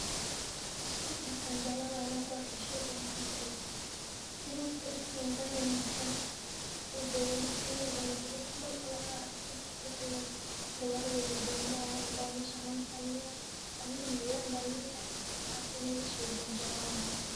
Mustaqbalka an jeclan laha in an kuarko sheygan waxaa waye in horta darka [environment-kan in uu clean noqdo mar un an arko wixi oo gawarida isdawa marayan ladaho meshan lantan miyaah i mean London miyaah waxas in lisweydiyo anjeclan lahay.